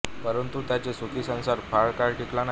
परंतु त्यांचा सुखी संसार फार काळ टिकला नाही